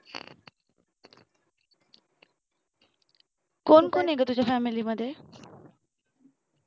कोण कोण आहे ग तुझ्या family मध्ये